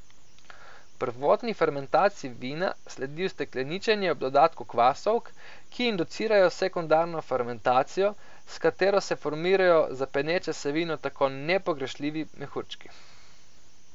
Prvotni fermentaciji vina sledi ustekleničenje ob dodatku kvasovk, ki inducirajo sekundarno fermentacijo, s katero se formirajo za peneče se vino tako nepogrešljivi mehurčki.